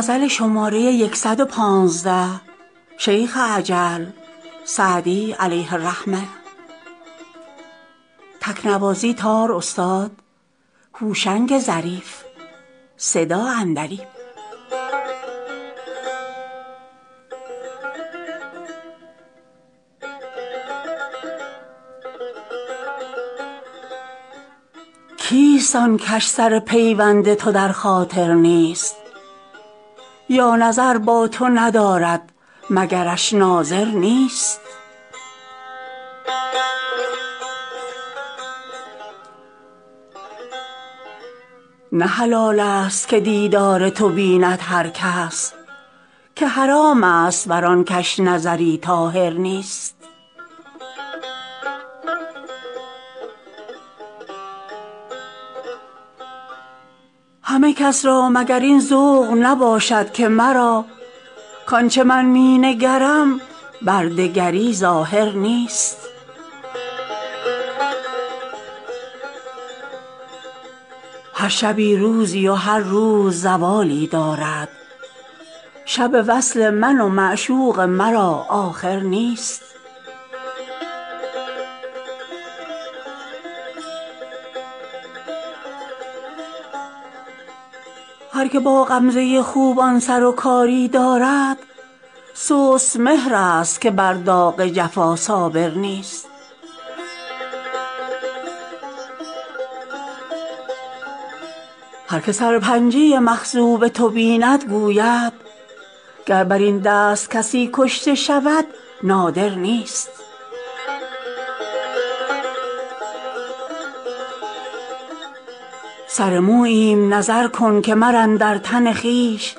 کیست آن کش سر پیوند تو در خاطر نیست یا نظر با تو ندارد مگرش ناظر نیست نه حلال ست که دیدار تو بیند هر کس که حرام ست بر آن کش نظری طاهر نیست همه کس را مگر این ذوق نباشد که مرا کآن چه من می نگرم بر دگری ظاهر نیست هر شبی روزی و هر روز زوالی دارد شب وصل من و معشوق مرا آخر نیست هر که با غمزه خوبان سر و کاری دارد سست مهرست که بر داغ جفا صابر نیست هر که سرپنجه مخضوب تو بیند گوید گر بر این دست کسی کشته شود نادر نیست سر موییم نظر کن که من اندر تن خویش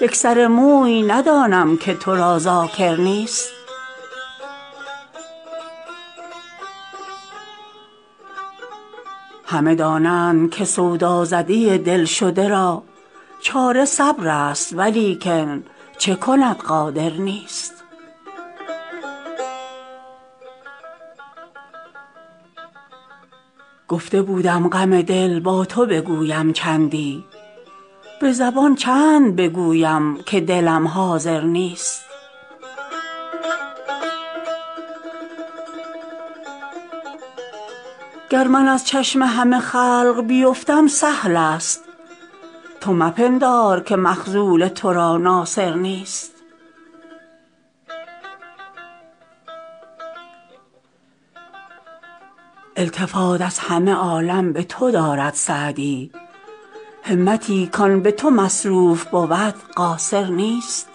یک سر موی ندانم که تو را ذاکر نیست همه دانند که سودازده دل شده را چاره صبرست ولیکن چه کند قادر نیست گفته بودم غم دل با تو بگویم چندی به زبان چند بگویم که دلم حاضر نیست گر من از چشم همه خلق بیفتم سهل ست تو مپندار که مخذول تو را ناصر نیست التفات از همه عالم به تو دارد سعدی همتی کآن به تو مصروف بود قاصر نیست